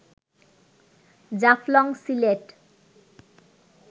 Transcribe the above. Jaflong Sylhet